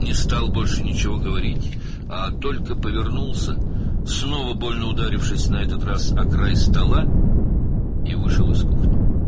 Daha heç nə demədi, sadəcə döndü, bu dəfə masanın kənarına yenidən ağrılı şəkildə dəyərək və mətbəxdən çıxdı.